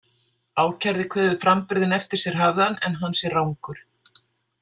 Ákærði kveður framburðinn eftir sér hafðan, en hann sé rangur.